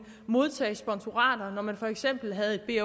modtage sponsorater når man for eksempel havde et